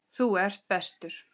Þú ert bestur.